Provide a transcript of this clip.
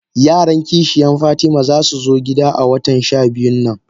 Yaran kishiyan fatima zasu zo gida a watan shabiyu nan.